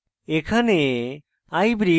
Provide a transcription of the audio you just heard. এখানে